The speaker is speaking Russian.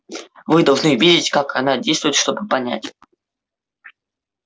вы должны видеть как она действует чтобы понять